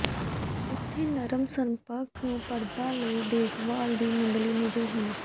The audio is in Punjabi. ਉੱਥੇ ਨਰਮ ਸੰਪਰਕ ਨੂੰ ਪਰਦਾ ਲਈ ਦੇਖਭਾਲ ਦੀ ਮੁੱਢਲੀ ਨਿਯਮ ਹਨ